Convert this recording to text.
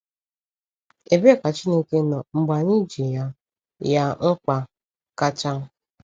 Ebee ka Chineke nọ mgbe anyị ji ya ya mkpa kacha?